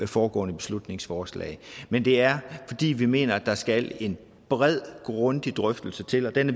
foregående beslutningsforslag men det er fordi vi mener at der skal en bred grundig drøftelse til og den